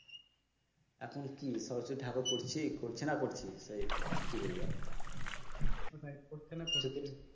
এখন কি সরস্বতী ঠাকুর করছি করছে না করছি সেই কি বলবো আর, ওটাই করছে না করছে